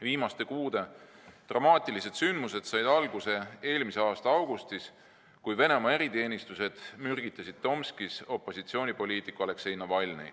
Viimaste kuude dramaatilised sündmused said alguse eelmise aasta augustis, kui Venemaa eriteenistused mürgitasid Tomskis opositsioonipoliitik Aleksei Navalnõi.